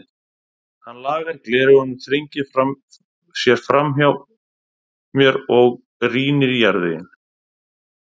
Hann lagar gleraugun, þrengir sér framhjá mér og rýnir í jarðveginn.